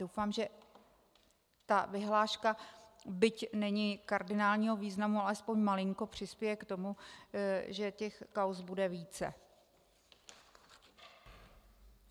Doufám, že tato vyhláška, byť není kardinálního významu, alespoň malinko přispěje k tomu, že těch kauz bude více.